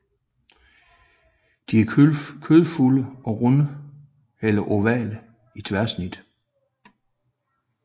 De er kødfulde og runde eller ovale i tværsnit